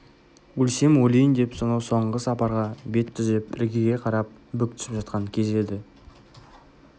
өлсем өлейін деп сонау соңғы сапарға бет түзеп іргеге қарап бүк түсіп жатқан кезі еді